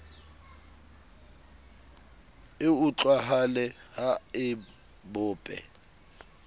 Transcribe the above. e utlwahale ha e bope